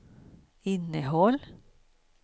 innehåll